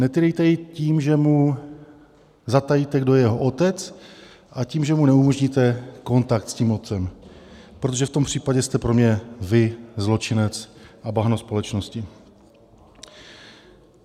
Netýrejte jej tím, že mu zatajíte, kdo je jeho otec, a tím, že mu neumožníte kontakt s tím otcem, protože v tom případě jste pro mě vy zločinec a bahno společnosti.